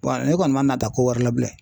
ne kɔni ma nata ko wɛrɛ la bilen